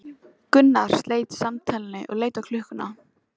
Gunnar sleit samtalinu og leit á klukkuna.